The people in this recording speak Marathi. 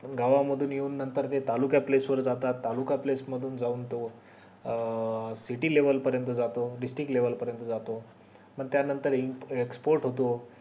गावा मधून येऊन नंतर ते तालुका place वर जातात तालुका place मधून जाऊन तो अं city level पर्यंत जातो disrtic level पर्यंत जातो पण त्या नंतर in export होतो